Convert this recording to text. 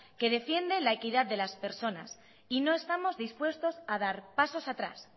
que defiende la equidad de las personas y no estamos dispuestos a dar pasos atrás